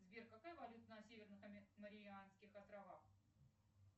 сбер какая валюта на северных марианских островах